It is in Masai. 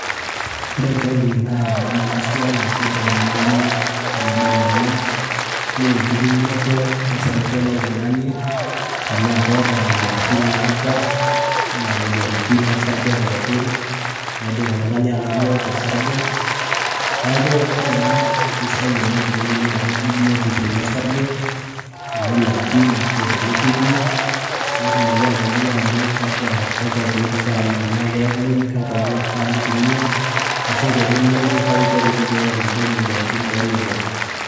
ore ena naa ekipimoto osarge lontung'ani ,tenaa keeta imoyiaritin naata enaa ino sarge ,neeku ore ena naa kisidai teneyiolou otung'ani biotisho enye orsage ,pee tumoki atayiolo ajo kakwa keek ifaa newok.